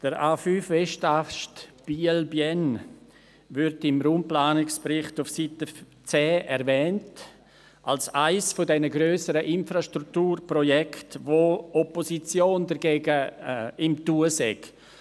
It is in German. Der A5-Westast Biel/Bienne wird im Raumplanungsbericht auf Seite 10 erwähnt als eines dieser grösseren Infrastrukturprojekte, gegen die sich Opposition geregt habe.